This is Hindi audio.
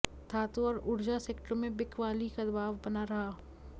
धातु और ऊर्जा सेक्टरों में बिकवाली का दबाव बना रहा